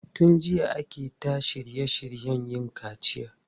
Tun jiya ake ta shirye shiryen yin kaciya.